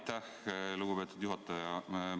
Aitäh, lugupeetud juhataja!